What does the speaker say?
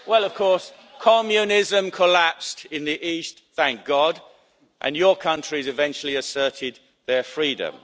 Of course, communism collapsed in the East, thank God, and your countries eventually asserted their freedom.